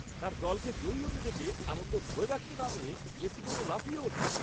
তার দলকে জয়ী হতে দেখে আনন্দ ধরে রাখতে না পেরে, জেসিকো তো লাফিয়ে ওঠে!